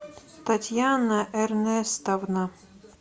татьяна эрнестовна